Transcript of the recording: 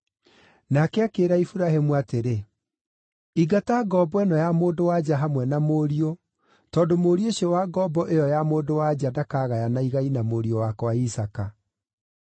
Nake akĩĩra Iburahĩmu atĩrĩ, “Ingata ngombo ĩno ya mũndũ-wa-nja hamwe na mũriũ, tondũ mũriũ ũcio wa ngombo ĩyo ya mũndũ-wa-nja ndakagayana igai na mũriũ wakwa Isaaka.”